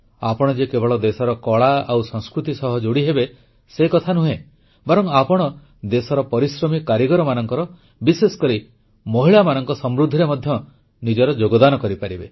ଆପଣ ଯେ କେବଳ ଦେଶର କଳା ଓ ସଂସ୍କୃତି ସହ ଯୋଡ଼ିହେବେ ସେ କଥା ନୁହେଁ ବରଂ ଆପଣ ଦେଶର ପରିଶ୍ରମୀ କାରିଗରମାନଙ୍କର ବିଶେଷକରି ମହିଳାମାନଙ୍କ ସମୃଦ୍ଧିରେ ମଧ୍ୟ ନିଜର ଯୋଗଦାନ କରିପାରିବେ